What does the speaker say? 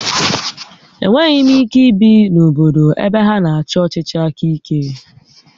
Enweghị m ike ibi na obodo ebe ha na-achị ọchịchị aka ike